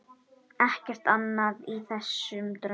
Ekkert annað í þessum draumi.